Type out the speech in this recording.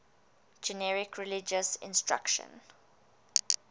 generic religious instruction